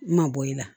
Ma bɔ i la